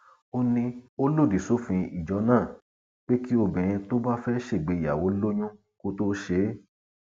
ó ní ó lòdì sófin ijó náà pé kí obìnrin tó bá fẹẹ ṣègbéyàwó lóyún kó tóó ṣe é